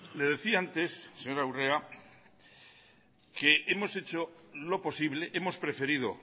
le decía antes señora urrea que hemos hecho lo posible hemos preferido